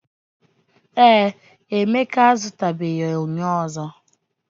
Ee, Emeka azutabeghi enyo ozo.